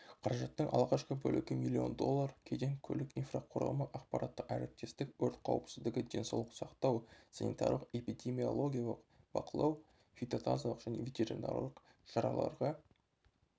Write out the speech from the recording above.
қаражаттың алғашқы бөлігі млн доллар кеден көлік инфрақұрылымы ақпараттық әріптестік өрт қауіпсіздігі денсаулық сақтау санитарлық эпидемиологиялық бақылау фитотазалық және ветеринарлық шараларға